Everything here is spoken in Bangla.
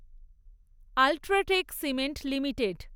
UltraTech cement limited